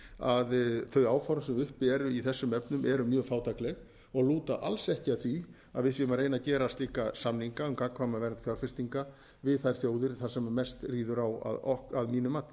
að þau áform sem uppi eru í þessum efnum eru mjög fátækleg og lúta alls ekki að því að við séum að reyna að gera slíka samninga um gagnkvæma vernd fjárfestinga við þær þjóðir þar sem mest ríður á að mínu mati